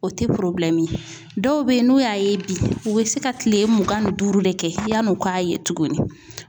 O tɛ dɔw bɛ yen n'o y'a ye bi u bɛ se ka kile mugan ni duuru de kɛ yann'o k'a ye tuguni.